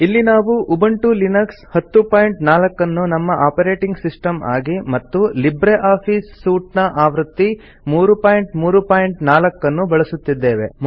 ಇಲ್ಲಿ ನಾವು Ubuntu Linux 1004 ಅನ್ನು ನಮ್ಮ ಆಪರೇಟಿಂಗ್ ಸಿಸ್ಟಮ್ ಆಗಿ ಮತ್ತು ಲಿಬ್ರೆ ಆಫೀಸ್ ಸೂಟ್ ಆವೃತ್ತಿ 334 ಅನ್ನು ಬಳಸುತ್ತಿದ್ದೇವೆ